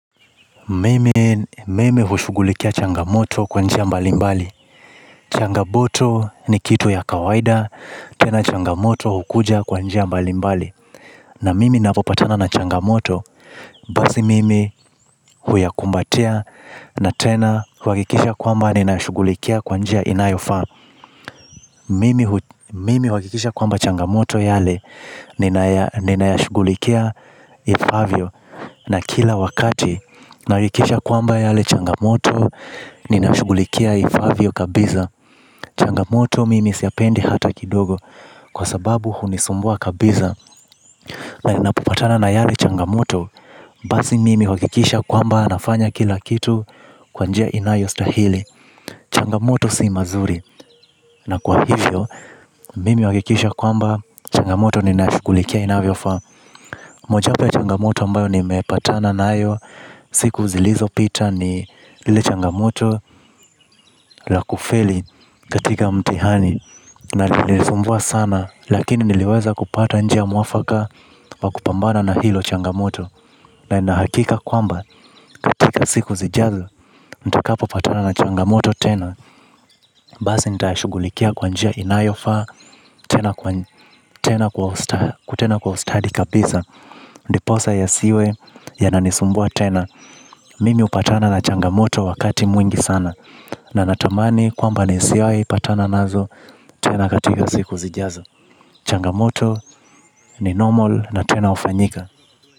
Mimi hushugulikia changamoto kwanjia mbalimbali. Changamoto ni kitu ya kawaida, tena changamoto hukuja kwanjia mbalimbali. Na mimi napopatana na changamoto, basi mimi huyakumbatia na tena huakikisha kwamba ninashughulikia kwanjia inayofa. Mimi huakikisha kwamba changamoto yale ninayashugulikia ifavyo. Na kila wakati narikisha kwamba yale changamoto ninashugulikia ifavyo kabiza. Changamoto mimi siyapendi hata kidogo. Kwa sababu hunisumbua kabiza. Na ninapopatana na yale changamoto basi mimi huakikisha kwamba nafanya kila kitu. Kwanjia inayo stahili. Changamoto si mazuri. Na kwa hivyo. Mimi huakikisha kwamba changamoto ni naishugulikia inavyo fa. Moja wapo ya changamoto ambayo ni mepatana na ayo. Siku zilizopita ni lile changamoto lakufeli katika mtihani. Na lilisumbua sana. Lakini niliweza kupata njia muafaka wakupambana na hilo changamoto. Na inahakika kwamba katika siku zijazo nita kapo patana na changamoto tena. Basi nitayashugulikia kwa njia inavyo fa. Tena kwa ustadi kabisa. Ndiposa ya siwe ya nanisumbua tena. Mimi upatana na changamoto wakati mwingi sana. Na natamani kwamba ni siwaipatana nazo tena katika siku zijazo. Changamoto ni normal na tena ufanyika.